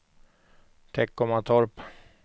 Teckomatorp